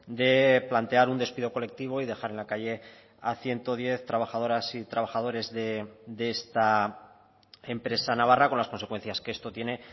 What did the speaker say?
de plantear un despido colectivo y dejar en la calle a ciento diez trabajadoras y trabajadores de esta empresa navarra con las consecuencias que esto tiene